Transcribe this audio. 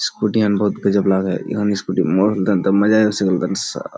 scooty येन गजब लगे एबं स्कूटी मजा सा --